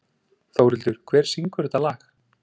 Þórhildur, hver syngur þetta lag?